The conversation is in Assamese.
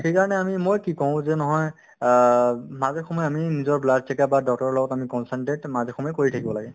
to সেইকাৰণে আমি মই কি কওঁ যে নহয় অ উম মাজে সময়ে আমি নিজৰ blood কেতিয়াবা doctor ৰৰ লগত আমি consultant মাজে সময়ে কৰি থাকিব লাগে